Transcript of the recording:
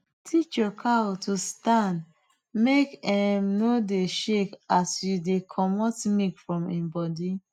teach your cow to stand make em no dey shake as you dey comot milk from em body